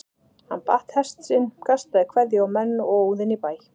Hann batt hest sinn, kastaði kveðju á menn og óð inn í bæ.